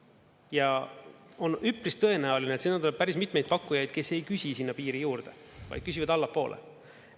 Ja on üpris tõenäoline, et tuleb päris mitmeid pakkujaid, kes ei küsi sinna piiri juurde, vaid küsivad allapoole.